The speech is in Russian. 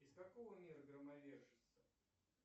из какого мира громовержица